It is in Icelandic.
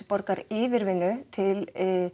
borgar yfirvinnu til